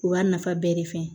U b'a nafa bɛɛ de f'a ye